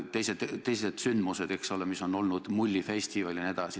Olid ju ka teised sündmused, Mullifestival jne.